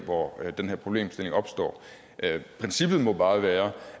hvor den her problemstilling opstår princippet må bare være